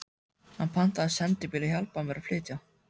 Hann pantaði sendibíl og hjálpaði mér að flytja.